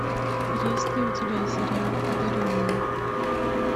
есть ли у тебя сериал одаренные